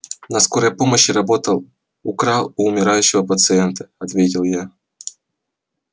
на скорой помощи работал украл у умирающего пациента ответил я